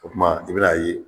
O tuma i bɛn'a ye